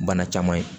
Bana caman ye